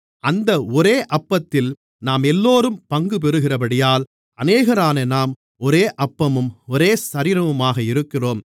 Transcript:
அந்த ஒரே அப்பத்தில் நாமெல்லோரும் பங்குபெறுகிறபடியால் அநேகரான நாம் ஒரே அப்பமும் ஒரே சரீரமுமாக இருக்கிறோம்